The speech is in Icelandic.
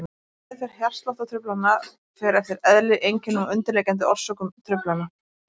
Meðferð hjartsláttartruflana fer eftir eðli, einkennum og undirliggjandi orsökum truflana.